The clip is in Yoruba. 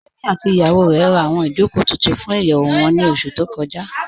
Tèmí àti ìyàwó rè rá awọn ìjọkò tuntun fún ìyẹwu wọn ni oṣù tó kọja